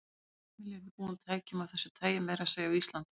Öll heimili yrðu búin tækjum af þessu tagi, meira að segja á Íslandi.